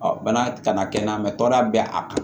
bana kana kɛ na bɛ a kan